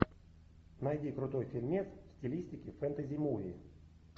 найди крутой фильмец в стилистике фэнтези муви